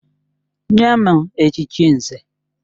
Nye m echichi Nze!